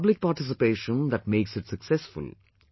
It is public participation that makes it successful